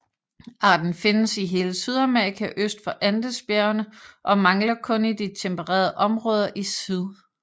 Arten findes i hele Sydamerika øst for Andesbjergene og mangler kun i de tempererede områder i syd